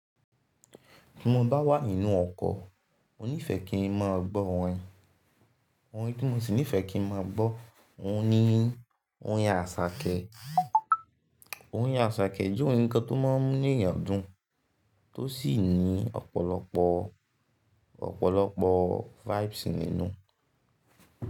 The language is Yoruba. Tí mo bá wà nínú ọkọ̀, mo nífẹ̀ẹ́ kí n máa gbọ́ orin. Ohun tí mo sì nífẹ̀ẹ́ kí n máa gbọ́, òun ni orin àṣàkẹ́. Orin àṣàkẹ́ jẹ́ orin kan tó máa inu èyán dún tó sì ní ọ̀pọ̀lọpọ̀, ọ̀pọ̀lọpọ̀ vibes nínú.